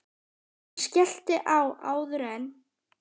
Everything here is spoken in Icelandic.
Hún skellti á áður en